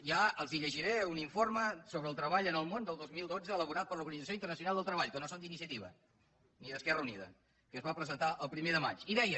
ja els llegiré un informe sobre el treball en el món del dos mil dotze elaborat per l’organització internacional del treball que no són d’iniciativa ni d’esquerra unida que es va presentar el primer de maig i deia